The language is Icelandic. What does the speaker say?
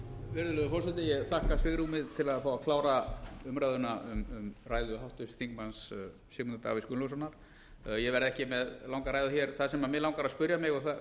virðulegur forseti ég þakka svigrúmið til að fá að klára umræðuna um ræðu háttvirts þingmanns sigmundar davíðs gunnlaugssonar en ég verð ekki með langa ræðu hér það sem mig langar að spyrja